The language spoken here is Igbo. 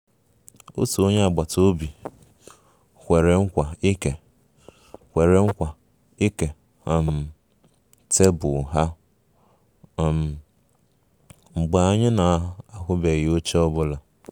Otu onye agbata obi kwere nkwa ịke kwere nkwa ịke um tebụl ha um mgbe anyị na-ahụghị oche ọ bụla